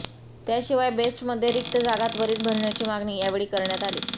त्याशिवाय बेस्टमध्ये रिक्त जागा त्वरीत भरण्याची मागणी यावेळी करण्यात आली